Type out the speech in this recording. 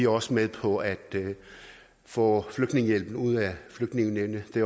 også med på at få flygtningehjælp ud af flygtningenævnet det